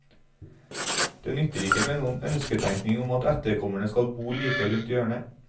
Det nytter ikke med noen ønsketenkning om at etterkommerne skal bo like rundt hjørnet.